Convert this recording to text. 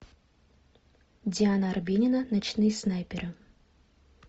диана арбенина ночные снайперы